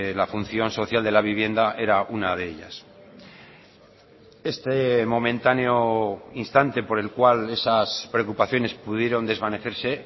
la función social de la vivienda era una de ellas este momentáneo instante por el cual esas preocupaciones pudieron desvanecerse